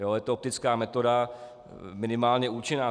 Je to optická metoda minimálně účinná.